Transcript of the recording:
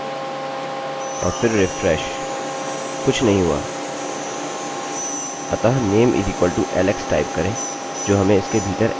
कुछ नहीं हुआ अतः name=alex टाइप करेंजो हमें इसके भीतर alex देता है